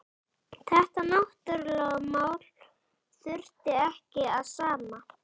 Þetta náttúrulögmál þurfti ekki að sanna.